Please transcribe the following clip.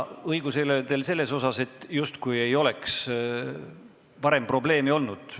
Küll aga pole teil õigus selles osas, justkui ei oleks varem sellega probleeme olnud.